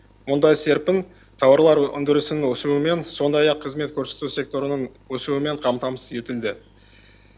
мұндай серпін тауарлар өндірісінің өсуімен сондай ақ қызмет көрсету секторының өсуімен қамтамасыз етілді